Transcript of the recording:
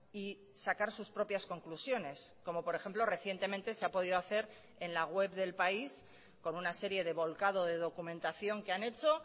y sacar sus propias conclusiones como por ejemplo recientemente se ha podido hacer en la web de el país con una serie de volcado de documentación que han hecho